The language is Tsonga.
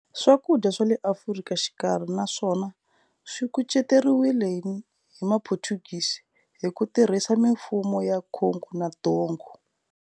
Swakudya swale Afrika Xikarhi na swona swikuceteriwile hi ma Portuguese, hiku tirhisa Mifumo ya Kongo na Ndongo.